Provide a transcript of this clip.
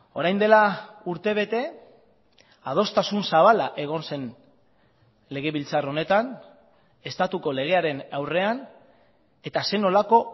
orain dela urtebete adostasun zabala egon zen legebiltzar honetan estatuko legearen aurrean eta zer nolako